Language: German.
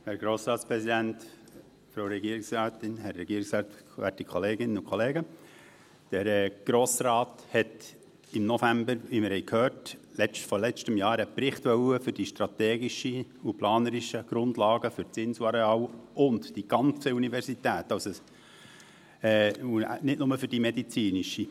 Der Grosse Rat wollte, wie wir gehört haben, im November des letzten Jahres einen Bericht für die strategischen und planerischen Grundlagen für das Inselareal und die ganze Universität, also nicht nur für die medizinische.